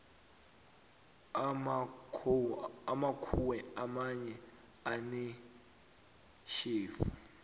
amakhowe amanye anetjhefu